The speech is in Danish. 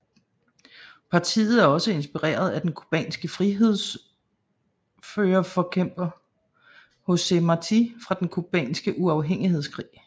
Partiet er også inspireret af den cubanske frigørelsesforkæmper José Martí fra Den cubanske uafhængighedskrig